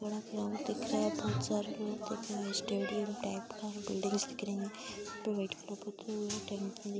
दिख रहा है। बोहोत सारे लोग दिख रहे। स्टेडियम टाइप का है। बिल्डिंग्स दिख रही हैं। --